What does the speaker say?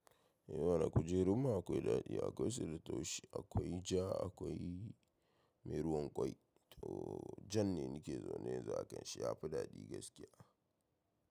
Eh mana kujerun mu akwai daɗi, akwai su da taushi, akwai ja, akwai mai ruwan ƙwai. To jan ne nike zaune yanzu akan shi ya fi daɗi gaskiya.